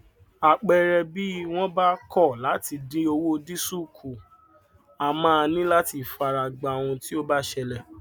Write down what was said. àpẹrẹbí wọn bá kọ láti dín owó dísùlù kù a máa ní láti fara gbá ohun tí ó bá ṣelẹ